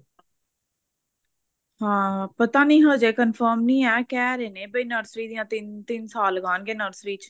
ਹਾਂ ਪਤਾ ਨਹੀਂ ਹਜੇ confirm ਨੀ ਐ ਕਹਿ ਰਹੇ ਨੇ ਵੀ nursery ਦੀਆਂ ਤਿੰਨ ਤਿੰਨ ਸਾਲ ਲਗਾਨਗੇ nursery ਚ